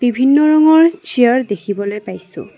ভিন্ন ৰঙৰ চিয়াৰ দেখিবলৈ পাইছোঁ।